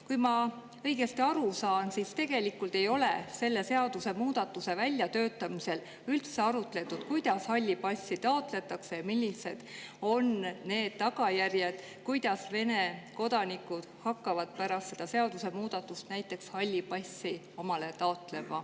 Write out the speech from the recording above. Kui ma õigesti aru saan, siis tegelikult ei ole selle seadusemuudatuse väljatöötamisel üldse arutletud, kuidas halli passi taotletakse ja millised on need tagajärjed, kuidas Vene kodanikud hakkavad pärast seda seadusemuudatust halli passi omale taotlema.